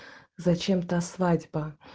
зачем-то свадьба